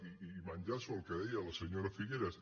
i enllaço amb el que deia la senyora figueras